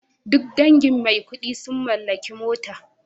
Duk dangin Maikudi sun mallaki mota